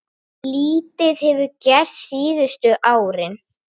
Lítið hefur gerst síðustu árin.